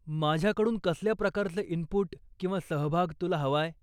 माझ्याकडून कसल्या प्रकारचं इनपुट किंवा सहभाग तुला हवाय?